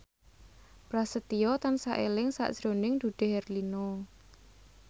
Prasetyo tansah eling sakjroning Dude Herlino